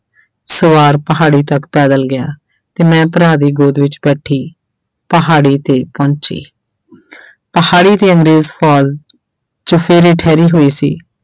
ਸਵਾਰ ਪਹਾੜੀ ਤੱਕ ਪੈਦਲ ਗਿਆ ਤੇ ਮੈਂ ਭਰਾ ਦੀ ਗੋਦ ਵਿੱਚ ਬੈਠੀ ਪਹਾੜੀ ਤੇ ਪਹੁੰਚੀ ਪਹਾੜੀ ਤੇ ਅੰਗਰੇਜ਼ ਫ਼ੌਜ਼ ਚੁਫ਼ੇਰੇ ਠਹਿਰੀ ਹੋਈ ਸੀ।